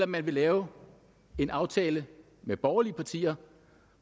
man lave en aftale med borgerlige partier